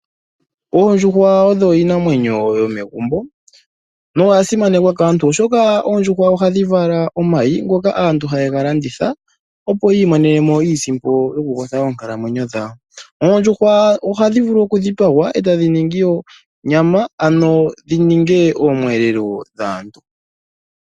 Oondjuhwa odho iinamwenyo yomegumbo noya simanekwa kaantu oshoka oondjuhwa ohadhi vala omayi ngoka aantu haye ga landitha opo yi imonene mo iisimpo yokukwatha oonkalamwenyo dhawo. Oondjuhwa ohadhi vulu okudhipagwa e tadhi ningi onyama ano dhi ninge omiyelelo dhaantu.